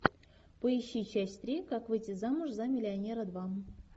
поищи часть три как выйти замуж за миллионера два